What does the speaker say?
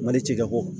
Mali cikɛko